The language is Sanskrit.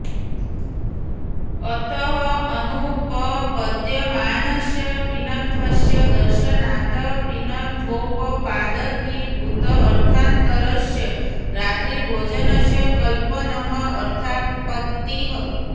अतः अनुपपद्यमानस्य पीनत्वस्य दर्शनात् पीनत्वोपपादकीभूत अर्थान्तरस्य रात्रिभोजनस्य कल्पनम् अर्थापत्तिः